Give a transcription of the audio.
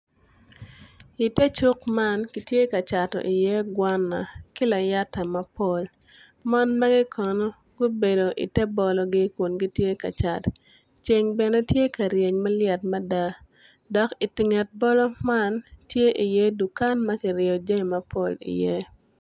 Ite cuk man kitye ka cato iye gwana ki layata mapol mon magi kono gubedo ite bologi kun gitye ka cat ceng bene tye ka ryeny ma lyet mada dok onget bolo man, tye iye dukan ma kiryeyo jami mapol iye.